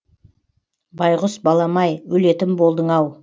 байғұс балам ай өлетін болдың ау